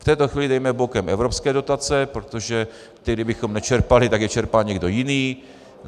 V této chvíli dejme bokem evropské dotace, protože ty kdybychom nečerpali, tak je čerpá někdo jiný.